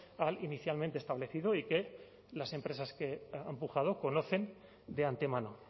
al inicialmente establecido y que las empresas que han pujado conocen de antemano